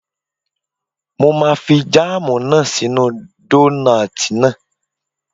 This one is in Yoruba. Mo máa fi jáàmù náà sí inú dónààtì náà